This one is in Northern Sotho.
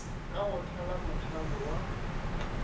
ka go thala mothalo wa